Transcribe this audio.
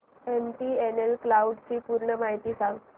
MTNL cloud ची पूर्ण माहिती सांग